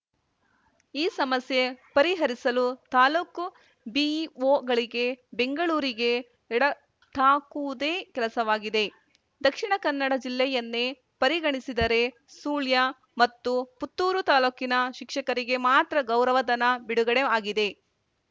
ಈ ಸಮಸ್ಯೆ ಪರಿಹರಿಸಲು ತಾಲೂಕು ಬಿಇಒಗಳಿಗೆ ಬೆಂಗಳೂರಿಗೆ ಎಡತಾಕುವುದೇ ಕೆಲಸವಾಗಿದೆ ದಕ್ಷಿಣ ಕನ್ನಡ ಜಿಲ್ಲೆಯನ್ನೇ ಪರಿಗಣಿಸಿದರೆ ಸುಳ್ಯ ಮತ್ತು ಪುತ್ತೂರು ತಾಲೂಕಿನ ಶಿಕ್ಷಕರಿಗೆ ಮಾತ್ರ ಗೌರವಧನ ಬಿಡುಗಡೆ ಆಗಿದೆ